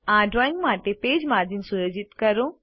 આ ડ્રોઈંગ માટે page margins સુયોજિત કરો